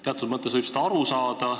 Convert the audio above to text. Teatud mõttes võib sellest aru saada.